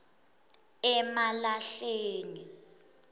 emalahleni